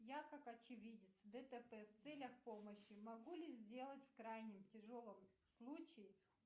я как очевидец дтп в целях помощи могу ли сделать в крайнем тяжелом случае